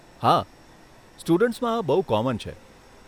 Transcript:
હા, સ્ટુડન્ટ્સમાં આ બહુ કોમન છે.